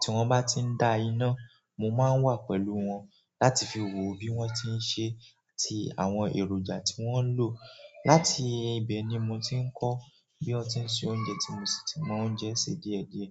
tí wọ́n bá ti ń da iná, mo máa ń wà pẹ̀lú wọn láti fi wo bí wọ́n ṣe ń ṣe àti àwọn èròjà tí wọ́n ń lò. Láti ibẹ̀ ni mo ti ń kọ́ bí wọ́n ti ń se oúnjẹ tí mo sì ti mọ oúnjẹ ṣe díẹ̀ díẹ̀.